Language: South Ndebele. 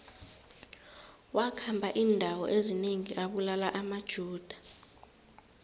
wakhamba indawo ezinengi abulala amajuda